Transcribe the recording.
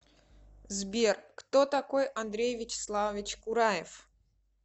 сбер кто такой андрей вячеславович кураев